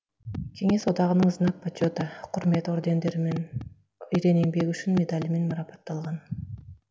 кеңес одағының знак почета құрмет ордендарымен ерен еңбегі үшін медалімен марапатталған